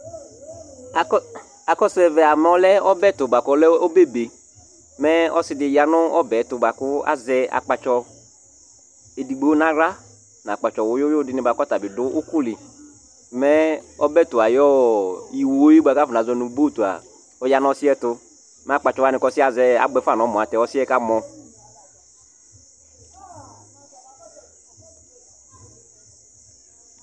Akɔsu ɛvɛa mɛ ɔlɛ ɔbɛtu kʋ ɔlɛ ɔbɛ be Mɛ ɔsiɖi ya ŋu ɔbɛtu bʋakʋ azɛ akpatsɔ ɛɖigbo ŋu aɣla ŋu akpatsɔ wʋyu wʋyu dìŋí bʋakʋ ataŋi ɖʋ ʋkuli Mɛ ɔbɛtu ayʋ iwo bʋakʋ azɔŋʋ boat ɔya ŋu ɔsiɛtu Mɛ akpatsɔ waŋi ɔsiɛ azɛ abʋɛfa ŋu ɛmɔ kʋ ɔsiɛ kamɔ